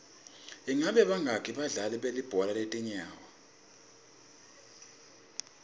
ingabe bangaki badlali belibhola letinyawo